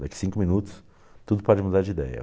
Daqui cinco minutos tudo pode mudar de ideia.